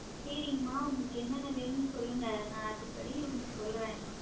செரிங்ம்மா உங்களுக்கு என்னென்னே வேணும்னு சொல்லுங்க நான் அதுபடி உங்களுக்கு சொல்றேன்.